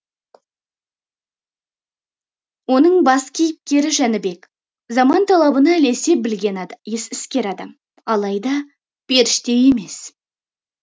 оның бас кейіпкері жәнібек заман талабына ілесе білген іскер адам алайда періште емес